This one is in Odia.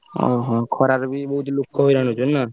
ଖରାରେ ବି ବହୁତ ଲୋକ ହଇରାଣ ହଉଥିବେ ନା?